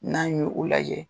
N'an y'o lajɛ